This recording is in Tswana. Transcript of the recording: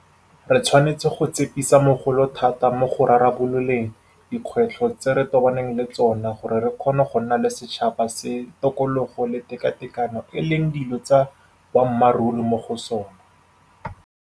Re tshwanetse go tsepamisa mogopolo thata mo go rarabololeng dikgwetlho tse re tobaneng le tsona gore re kgone go nna le setšhaba se tokologo le tekatekano e leng dilo tsa boammaruri mo go sona.